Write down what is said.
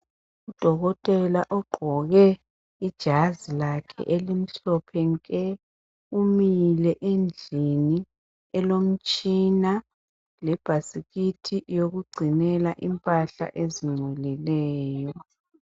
Udokotela ogqoke ijazi lakhe elimhlophe nke umile endlini elomtshina lebhasikithi eyokugcinela impahla ezingcolileyo.